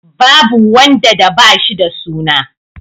Babu wanda da ba shi da suna.